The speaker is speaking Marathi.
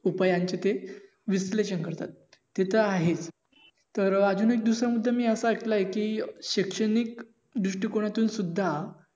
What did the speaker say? उपायांचे ते विश्लेषण करतात तीत आहेत तर अं अजून एक दुसरा मुद्धा मी असा अयिकलाय कि शैक्षणिक दृष्टिकोनातून सुद्धा